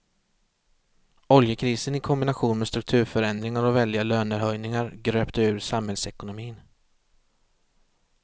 Oljekrisen i kombination med strukturförändringar och väldiga lönehöjningar gröpte ur samhällsekonomin.